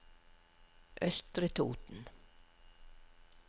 Østre Toten